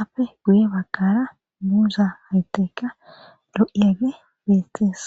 apfe guye bakara muuza haytekka lo7iege beettees.